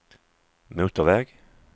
motorväg